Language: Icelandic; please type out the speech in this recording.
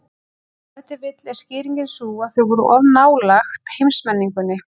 Ef til vill er skýringin sú að þau voru of nálægt heimsmenningunni.